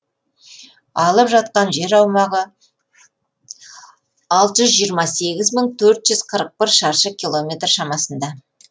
алып жатқан жер аумағы алты жүз жиырма сегіз мың төрт жүз қырық бір шаршы километр шамасында